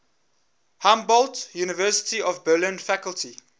humboldt university of berlin faculty